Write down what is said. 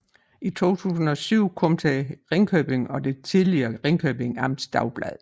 I 2007 kom til Ringkøbing og det tidligere Ringkjøbing Amts Dagblad